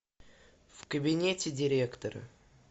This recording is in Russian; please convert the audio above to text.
в кабинете директора